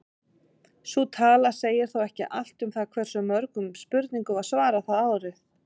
Sú tala segir þó ekki allt um það hversu mörgum spurningum var svarað það árið.